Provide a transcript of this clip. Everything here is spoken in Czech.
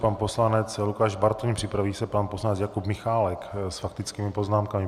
Pan poslanec Lukáš Bartoň, připraví se pan poslanec Jakub Michálek s faktickými poznámkami.